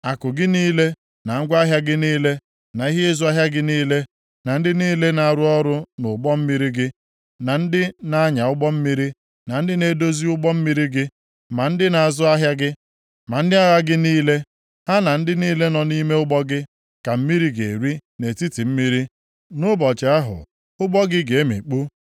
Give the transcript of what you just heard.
Akụ gị niile, na ngwa ahịa gị niile, na ihe ịzụ ahịa gị niile, na ndị niile na-arụ ọrụ nʼụgbọ mmiri gị, na ndị na-anya ụgbọ mmiri, ma ndị na-edozi ụgbọ mmiri gị, ma ndị na-azụ ahịa gị, ma ndị agha gị niile, ha na ndị niile nọ nʼime ụgbọ gị ka mmiri ga-eri nʼetiti mmiri, nʼụbọchị ahụ ụgbọ gị ga-emikpu.